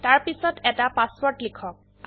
তাৰপিছত এটা পাসওয়াৰ্ড লিখক